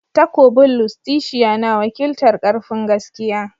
Takobin Lustitia na wakiltar "Karfin"gaskiya.